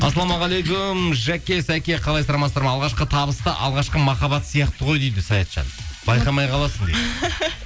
ассалаумағалейкум жәке сәке қалайсыздар амансыздар ма алғашқы табыс та алғашқы махаббат сияқты ғой дейді саятжан байқамай қаласың дейді